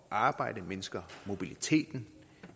at arbejde og mindsker mobiliteten